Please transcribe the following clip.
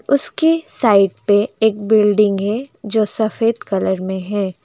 उसके साइड पे एक बिल्डिंग है जो सफेद कलर में है।